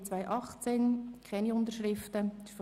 Es liegen keine Unterschriften vor.